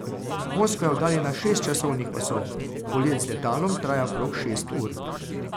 Moskva je oddaljena šest časovnih pasov, polet z letalom traja okrog šest ur.